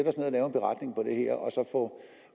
få